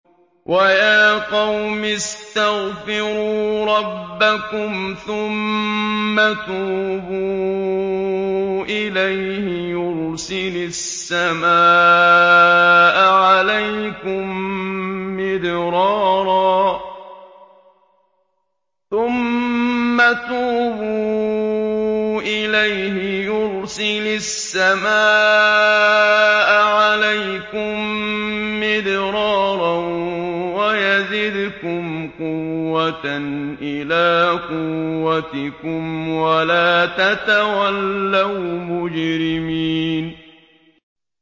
وَيَا قَوْمِ اسْتَغْفِرُوا رَبَّكُمْ ثُمَّ تُوبُوا إِلَيْهِ يُرْسِلِ السَّمَاءَ عَلَيْكُم مِّدْرَارًا وَيَزِدْكُمْ قُوَّةً إِلَىٰ قُوَّتِكُمْ وَلَا تَتَوَلَّوْا مُجْرِمِينَ